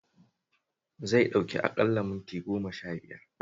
Zai ɗauki aƙalla minti goma-shabiyar